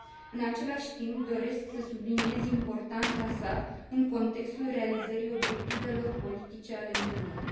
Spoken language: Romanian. În același timp, doresc să subliniez importanța sa în contextul realizării obiectivelor politice ale Uniunii.